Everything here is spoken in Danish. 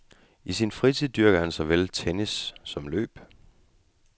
I sin fritid dyrker han såvel tennis som løb.